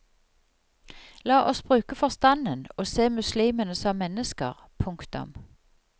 La oss bruke forstanden og se muslimene som mennesker. punktum